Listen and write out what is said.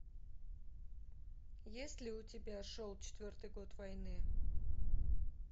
есть ли у тебя шел четвертый год войны